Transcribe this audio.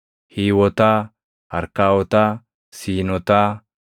Hiiwotaa, Arkaawotaa, Siinotaa,